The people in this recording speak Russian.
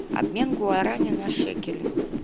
обмен гуарани на шекели